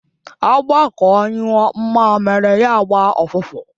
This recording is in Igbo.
Agbakọ ṅụọ mmamiri ya gba ụfụfụ.